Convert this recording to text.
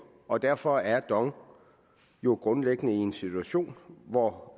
og derfor er dong jo grundlæggende i en situation hvor